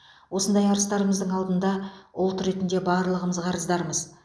осындай арыстарымыздың алдында ұлт ретінде барлығымыз қарыздармыз